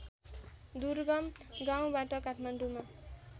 दुर्गम गाउँबाट काठमाडौँमा